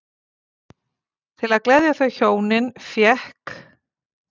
Til að gleðja þau hjónin fékk